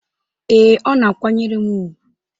Ee, ọ na-akwanyere m ùgwù